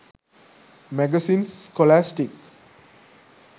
magazines scholastic